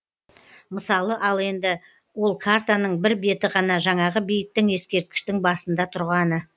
мысалы ал енді ол картаның бір беті ғана жаңағы бейіттің ескерткіштің басында тұрғаны